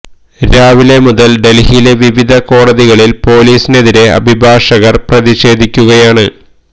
രാവിലെ മുതൽ ഡൽഹിയിലെ വിവിധ കോടതികളിൽ പൊലീസിനെതിരെ അഭിഭാഷകർ പ്രതിഷേധി ക്കുകയാണ്